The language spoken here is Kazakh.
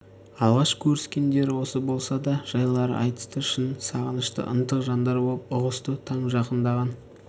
алғаш көріскендері осы болса да көп жайларды айтысты шын сағынышты ынтық жандар боп ұғысты таң жақындаған